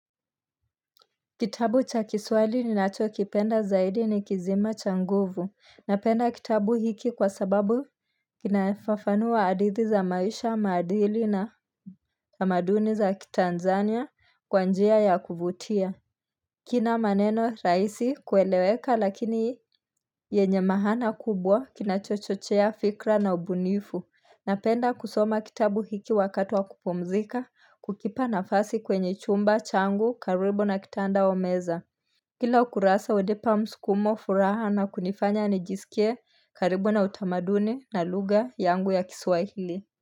Kitabu cha kiswali ninacho kipenda zaidi ni kisima cha nguvu, napenda kitabu hiki kwa sababu kinafafanua hadithi za maisha maadili na tamaduni za kiTanzania kwa njia ya kuvutia. Kina maneno rahisi kueleweka lakini yenye maana kubwa kinachochochea fikra na ubunifu, napenda kusoma kitabu hiki wakati wa kupumzika kukipa nafasi kwenye chumba changu karibu na kitanda au meza. Kila ukurasa hunipa msukumo furaha na kunifanya nijisikie karibu na utamaduni na lugha yangu ya kiswahili.